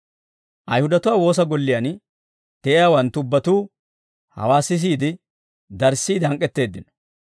Ayihudatuwaa woosa golliyaan de'iyaawanttu ubbatuu hawaa sisiide darissiide hank'k'etteeddino.